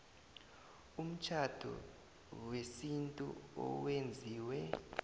umtjhado wesintu owenziwe